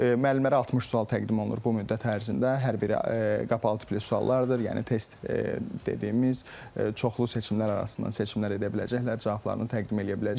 Müəllimlərə 60 sual təqdim olunur bu müddət ərzində, hər biri qapalı tipli suallardır, yəni test dediyimiz çoxlu seçimlər arasından seçimlər edə biləcəklər, cavablarını təqdim eləyə biləcəklər.